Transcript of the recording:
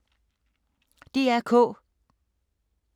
DR K